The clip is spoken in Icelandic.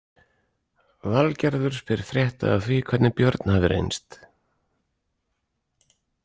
Valgerður spyr frétta af því hvernig Björn hafi reynst.